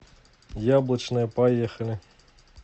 яблочная поехали